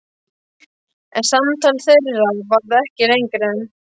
En samtal þeirra varð ekki lengra.